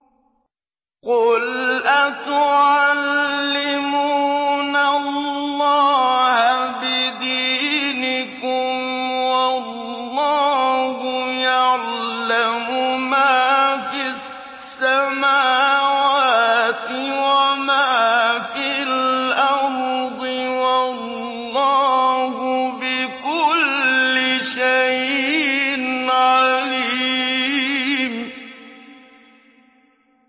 قُلْ أَتُعَلِّمُونَ اللَّهَ بِدِينِكُمْ وَاللَّهُ يَعْلَمُ مَا فِي السَّمَاوَاتِ وَمَا فِي الْأَرْضِ ۚ وَاللَّهُ بِكُلِّ شَيْءٍ عَلِيمٌ